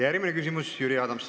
Järgmine küsimus, Jüri Adams.